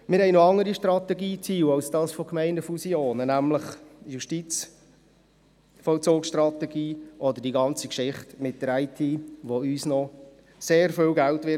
Wir haben noch andere Strategieziele als jenes der Gemeindefusionen, nämlich die Justizvollzugsstrategie oder die ganze Geschichte mit der IT, die uns noch sehr viel Geld kosten wird.